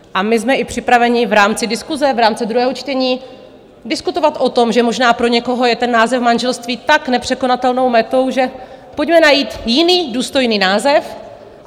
A my jsme i připraveni v rámci diskuse v rámci druhého čtení diskutovat o tom, že možná pro někoho je ten název manželství tak nepřekonatelnou metou, že... pojďme najít jiný důstojný název.